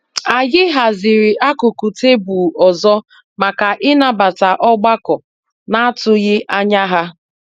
Anyị haziri akụkụ tebụlụ ọzọ maka ịnabata ọgbakọ n'atụghị ányá ha.